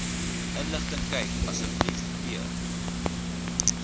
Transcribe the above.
inligtingkyk asb p